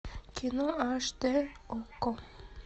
кино аш дэ окко